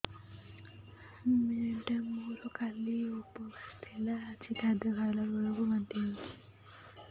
madam ମୋର କାଲି ଉପବାସ ଥିଲା ଆଜି ଖାଦ୍ୟ ଖାଇଲା ବେଳକୁ ବାନ୍ତି ହେଊଛି